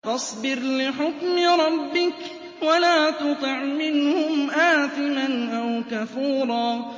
فَاصْبِرْ لِحُكْمِ رَبِّكَ وَلَا تُطِعْ مِنْهُمْ آثِمًا أَوْ كَفُورًا